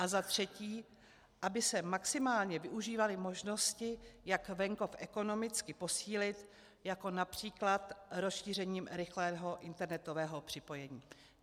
A za třetí, aby se maximálně využívaly možnosti, jak venkov ekonomicky posílit, jako například rozšířením rychlého internetového připojení.